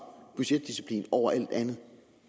budgetdisciplin over alt andet